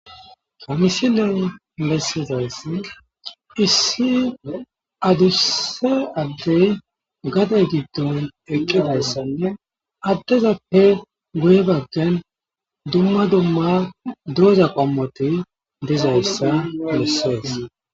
kamisi ley bessizayssi issi adusse addey gadey giddon eqqidayssanne addezappe guye baggen dumma dumma doza qommoti dizayssa lussees